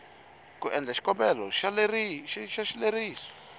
ku endla xikombelo xa xileriso